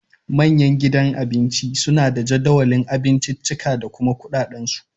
Manyan gidan Abinci suna da jadawalin abinciccika da kuma kuɗaɗen su